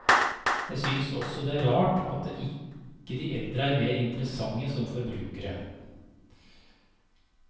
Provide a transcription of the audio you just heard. Jeg synes også det er rart at ikke de eldre er mer interessante som forbrukere.